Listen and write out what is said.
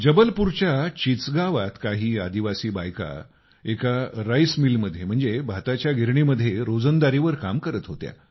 जबलपूरच्या चिचगावात काही आदिवासी बायका एका राईस मिल म्हणजेच भाताच्या गिरणी मध्ये रोजंदारी वर काम करत होत्या